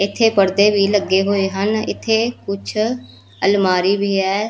ਇੱਥੇ ਪੜਦੇ ਵੀ ਲੱਗੇ ਹੋਏ ਹਨ ਇੱਥੇ ਕੁਛ ਅਲਮਾਰੀ ਵੀ ਹੈ।